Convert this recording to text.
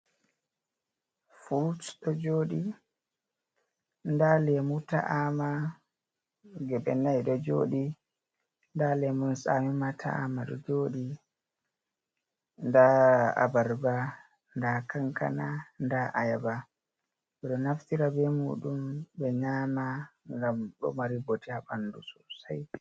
Fruit ɗo joɗi nda lemu ta’ama geɓe nai ɗo joɗi, nda lemun tsami ma ta’ama ɗo joɗi, nda abarba, nda kankana, anda ayaba, ɓe naftira be muɗum ɓe nyama ngam ɗo mari bote ha ɓandu sosai.